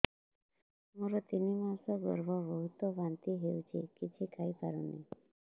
ମୋର ତିନି ମାସ ଗର୍ଭ ବହୁତ ବାନ୍ତି ହେଉଛି କିଛି ଖାଇ ପାରୁନି